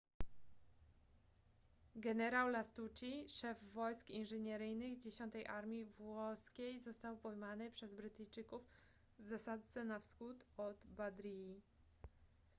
generał lastucci szef wojsk inżynieryjnych dziesiątej armii włoskiej został pojmany przez brytyjczyków w zasadzce na wschód od badriji